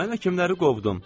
Mən həkimləri qovdum.